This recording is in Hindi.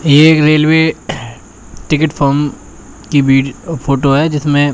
ये एक रेलवे टिकट फॉम की वी फोटो है जिसमें--